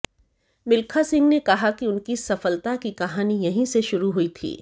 मिल्खा सिंह ने कहा कि उनकी सफलता की कहानी यहीं से शुरू हुई थी